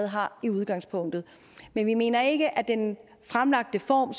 har i udgangspunktet men vi mener ikke at den fremlagte form